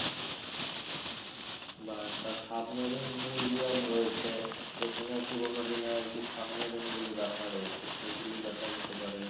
বা একটা submarine museum রয়েছে যেখানে পুরোনো দিনের আরকি সাবমেরিন গুলো দেখা যায় সে গুলো দেখা যেতে পারে